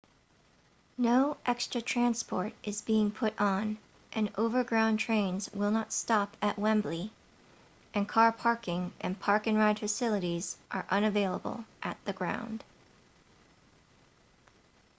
no extra transport is being put on and overground trains will not stop at wembley and car parking and park-and-ride facilities are unavailable at the ground